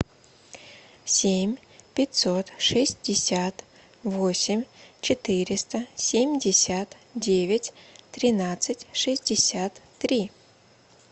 семь пятьсот шестьдесят восемь четыреста семьдесят девять тринадцать шестьдесят три